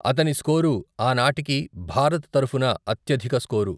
అతని స్కోరు ఆ నాటికి భారత్ తరఫున అత్యధిక స్కోరు.